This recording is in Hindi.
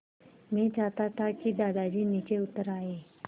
मैं चाहता था कि दादाजी नीचे उतर आएँ